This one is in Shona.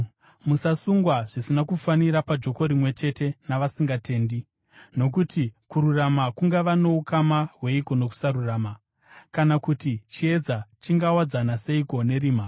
Musasungwa zvisina kufanira pajoko rimwe chete navasingatendi. Nokuti kururama kungava noukama hweiko nokusarurama? Kana kuti chiedza chingawadzana seiko nerima?